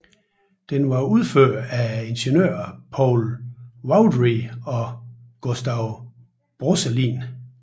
Den var udført af ingeniørerne Paul Vaudrey og Gustave Brosselin